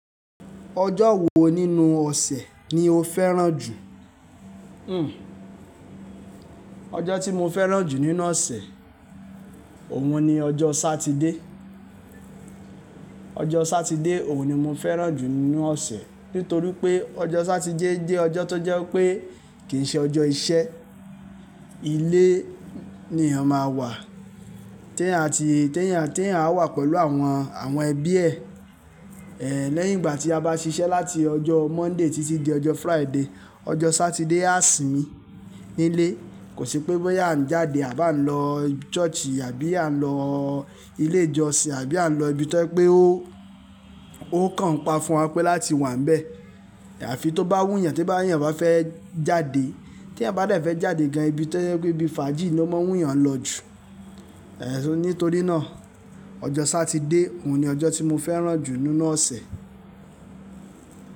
Ọjọ́ wo nínú ọ̀sẹ̀ ni o fẹ́ràn jù? Hmm ọjọ́ tí mo fẹ́ràn jù nínú ọ̀sẹ̀, òun ni ọjọ́ Sátidé. Ọjọ́ Sátidé òun ni mo fẹ́ràn jù nínú ọ̀sẹ̀, nítorí pé ọjọ́ Sátidé jẹ́ ọjọ́ tó jẹ́ wipé kìí ṣe ọjọ́ iṣẹ́. Ilé ni èèyàn máa wà, tí èèyàn, ati tí èèyàn, tí èèyàn á wà pẹ̀lú àwọn, àwọn ẹbí ẹ̀. Lẹ́yìn ìgbà tí a bá ṣiṣẹ́ láti ọjọ́ Monday títí di ọjọ́ Friday, ọjọ́ Sátidé á sìmi nilé. Kò sí pé bóyá à ń jáde à bá ń lọ church àbí à ń lọ ilé ìjọsìn àbí à ń lọ ibi tó jẹ́ pé ó, ó kàn pa fún wa pé láti wà níbẹ̀. Àfi tó bá wù yàn tí bá e yàn bá fẹ́ jáde. Tí èèyàn bá de fẹ́ jáde gan ibi tó jẹ́ pé ibi fàájì ló máa ń wù yàn lọ jù, nítorí náà ọjọ́ Sátidé òun ni ọjọ́ tí mo fẹ́ràn jù nínú ọ̀sẹ̀.